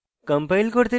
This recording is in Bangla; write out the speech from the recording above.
compile করতে লিখুন